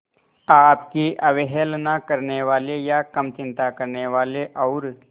आपकी अवहेलना करने वाले या कम चिंता करने वाले और